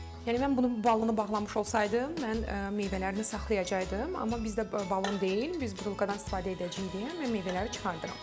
Yəni mən bunu balını bağlamış olsaydım, mən meyvələrini saxlayacaqaydım, amma bizdə balon deyil, biz burulkadan istifadə edəcəyik, yəni mən meyvələri çıxardıram.